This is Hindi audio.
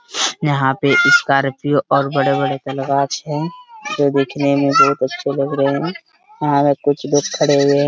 यहाँ पे स्कार्पियो और बड़े - बड़े है ये देखने में बहुत अच्छा लग रहे है और कुछ लोग खड़े हुए।